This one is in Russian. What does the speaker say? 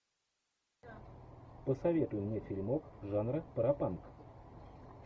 посоветуй мне фильмок жанра пропанк